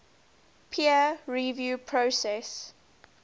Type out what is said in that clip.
peer review process